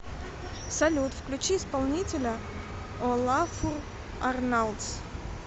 салют включи исполнителя олафур арналдс